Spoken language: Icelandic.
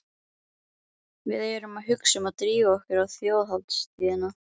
Við erum að hugsa um að drífa okkur á Þjóðhátíðina.